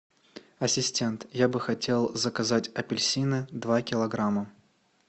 ассистент я бы хотел заказать апельсины два килограмма